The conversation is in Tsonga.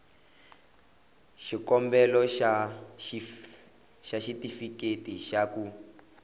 xikombelo xa xitifiketi xa ku